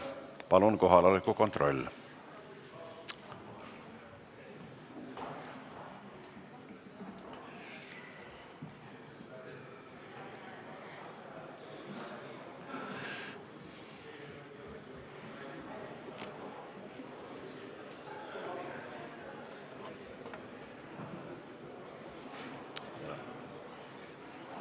Palun kohaloleku kontroll!